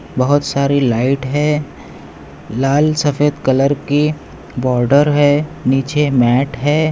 बहुत सारी लाइट हैं लाल सफ़ेद कलर की बार्डर हैं नीचे मॅट हैं।